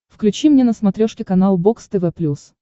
включи мне на смотрешке канал бокс тв плюс